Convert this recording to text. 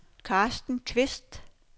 Carsten Kvist